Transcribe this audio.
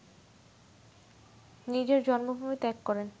নিজের জন্মভূমি ত্যাগ করেন